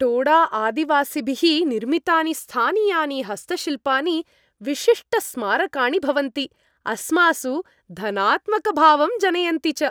टोडाआदिवासिभिः निर्मितानि स्थानीयानि हस्तशिल्पानि विशिष्टस्मारकाणि भवन्ति, अस्मासु धनात्मकभावं जनयन्ति च।